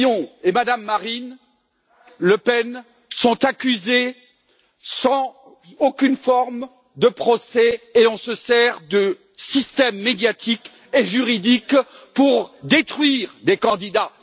Fillon et Mme Marine Le Pen, sont accusés sans aucune forme de procès, et on se sert de systèmes médiatiques et juridiques pour détruire des candidats.